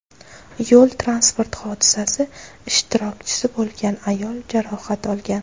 Yo‘l transport hodisasi ishtirokchisi bo‘lgan ayol jarohat olgan.